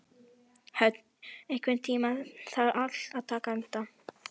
Hödd, einhvern tímann þarf allt að taka enda.